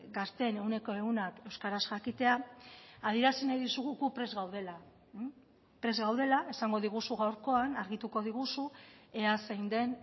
gazteen ehuneko ehunak euskaraz jakitea adierazi nahi dizugu gu prest gaudela prest gaudela esango diguzu gaurkoan argituko diguzu ea zein den